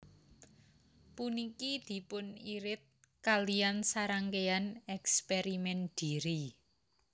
Puniki dipunirid kaliyan sarangkéyan èkspèrimèn dhiri